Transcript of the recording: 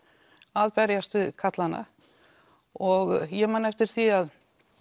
að berjast við karlana og ég man eftir því að